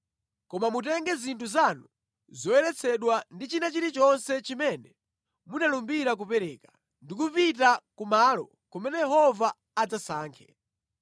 Koma mutenge zinthu zanu zoyeretsedwa ndi china chilichonse chimene munalumbira kupereka, ndi kupita kumalo kumene Yehova adzasankhe.